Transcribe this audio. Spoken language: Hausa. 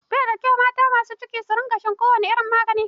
Baida kyau mata masu ciki su sha kowane irin magani.